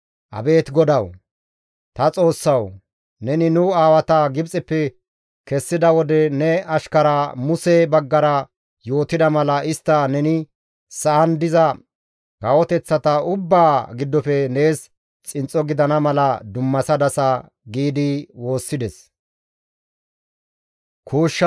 Abeet GODAWU, Ta Xoossawu! Neni nu aawata Gibxeppe kessida wode ne ashkara Muse baggara yootida mala istta neni sa7an diza kawoteththata ubbaa giddofe nees xinxxo gidana mala dummasadasa» giidi woossides.